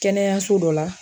Kɛnɛyaso dɔ la